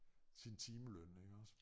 Sin timeløn iggås